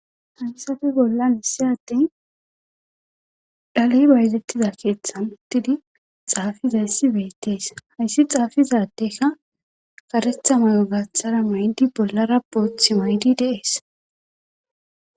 Hayssappe bollan issi adde dhale bayzetida keeththan uttidi xaafidayssi beetees. hayssi xaafida addekka karetha mayo gaathar mayidi bollara boothi mayidi de'ees.